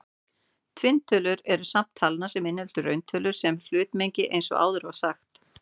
Tvinntölurnar eru safn talna sem inniheldur rauntölurnar sem hlutmengi eins og áður var sagt.